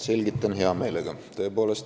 Selgitan hea meelega.